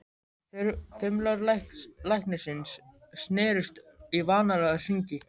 Þumlar læknisins snerust í vanalega hringi.